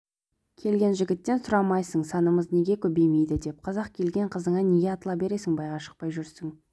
келген жігіттен сұрамайсың санымыз неге көбеймейді деп қазақ келген қызыңа неге атыла бересің байға шықпай жүрсің